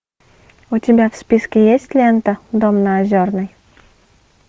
у тебя в списке есть лента дом на озерной